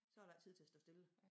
Så der ikke tid til at stå stille